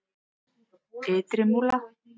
Ytri Múla